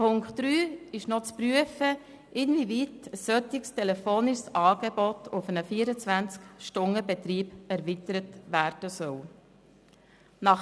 Unter Ziffer 3 soll geprüft werden, inwieweit ein solches telefonisches Angebot auf einen 24-Stunden-Betrieb erweitert werden kann.